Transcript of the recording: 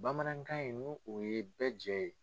Bamanankan in nu o ye bɛɛ jɛ ye.